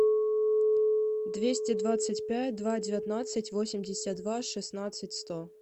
двести двадцать пять два девятнадцать восемьдесят два шестнадцать сто